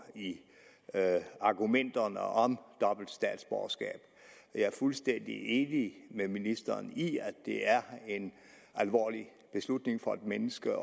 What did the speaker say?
ind i argumentationen om dobbelt statsborgerskab og jeg er fuldstændig enig med ministeren i at det er en alvorlig beslutning for et menneske